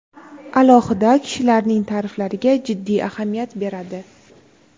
alohida kishilarning ta’riflariga jiddiy ahamiyat beradi.